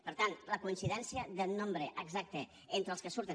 per tant la coincidència del nombre exacte entre els que surten